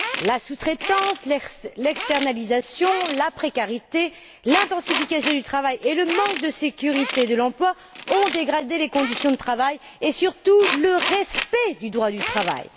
La sous traitance, l'externalisation, la précarité, l'intensification du travail et le manque de sécurité de l'emploi ont dégradé les conditions de travail et, surtout, le respect du droit du travail.